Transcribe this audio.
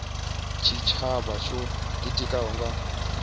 tshitshavha tsho ḓitikaho nga mutheo